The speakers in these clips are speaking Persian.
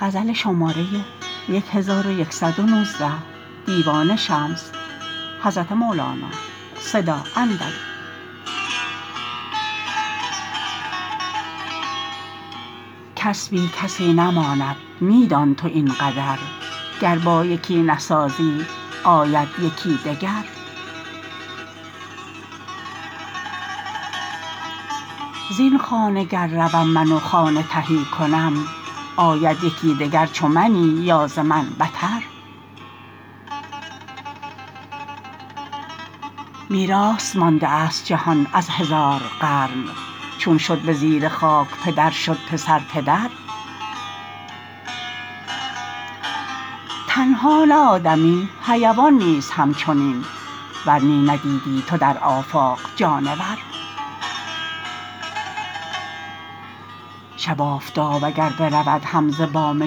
کس بی کسی نماند می دان تو این قدر گر با یکی نسازی آید یکی دگر زین خانه گر روم من و خانه تهی کنم آید یکی دگر چو منی یا ز من بتر میراث مانده است جهان از هزار قرن چون شد به زیر خاک پدر شد پسر پدر تنها نه آدمی حیوان نیز همچنین ور نی ندیدیی تو در آفاق جانور شب آفتاب اگر برود هم ز بام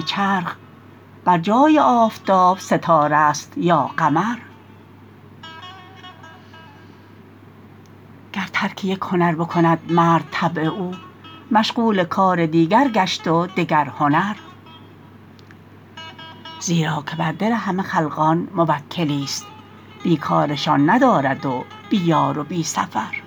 چرخ بر جای آفتاب ستاره ست یا قمر گر ترک یک هنر بکند مرد طبع او مشغول کار دیگر گشت و دگر هنر زیرا که بر دل همه خلقان موکلیست بی کارشان ندارد و بی یار و بی سفر